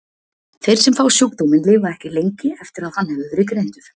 Þeir sem fá sjúkdóminn lifa ekki lengi eftir að hann hefur verið greindur.